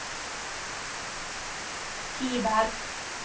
Kiberg